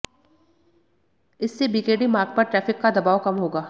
इससे बीकेडी मार्ग पर ट्रैफिक का दबाव कम होगा